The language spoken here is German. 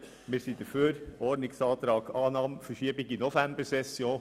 Wir sind für Annahme des Ordnungsantrags und für eine Verschiebung in die Novembersession.